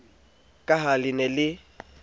ka ha le ne le